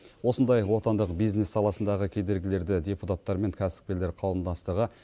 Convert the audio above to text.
осындай отандық бизнес саласындағы кедергілерді депутаттар мен кәсіпкерлер қауымдастығы